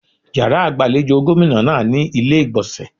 Yàrá ìgbàlejò gómìnà náà ní ilé ìgbọ̀nsẹ̀.